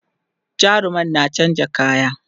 jarumar na chanza kaya